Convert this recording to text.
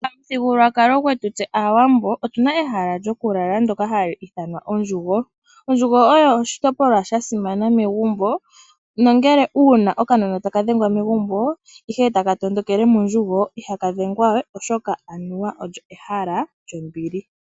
Pamuthigululwakalo gwetu tse aawambo otuna ehala lyoku lala ndyoka hali ithanwa ondjugo. Ondjugo oyo oshitopolwa sha simana megumbo nongele uuna okanona taka dhengwa megumbo ndele eta ka tondokele mondjugo ihaka dhengwa we oshoka anuwa olyo ehala lyombili.